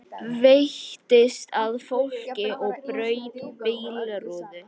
Veittist að fólki og braut bílrúðu